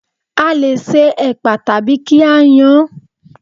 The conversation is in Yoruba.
A lè se ẹ̀pà tàbí kí á yan án